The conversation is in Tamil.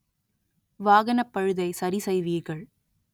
வாகனப் பழுதை சரி செய்வீர்கள்